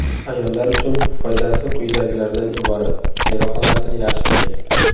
Ayollar uchun foydasi quyidagilardan iborat: Teri holatini yaxshilaydi.